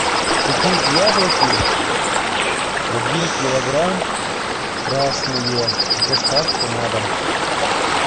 купить яблоки один килограмм красные с доставкой на дом